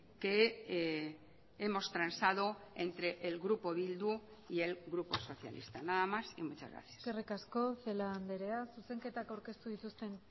que hemos transado entre el grupo bildu y el grupo socialista nada más y muchas gracias eskerrik asko celaá andrea zuzenketak aurkeztu dituzten